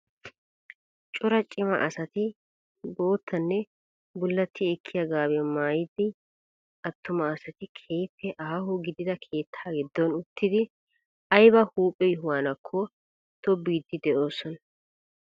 Cora cima asati boottanne bullatti ekkiyaa gaabiyaa maayida attuma asati keehippe aaho gidida keettaa giddon uttidi ayba huuphphe yohuwaanakko tobbiidi de'oosona.